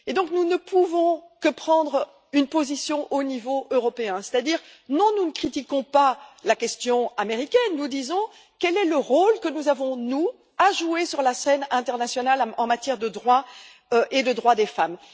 Nous ne pouvons donc que prendre une position au niveau européen, c'est à dire non, nous ne critiquons pas la question américaine, nous disons quel rôle avons nous à jouer sur la scène internationale en matière de droit et de droits des femmes?.